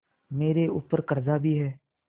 मेरे ऊपर कर्जा भी है